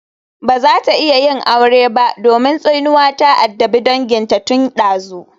She can't marry because a curse had befallen her family for generations.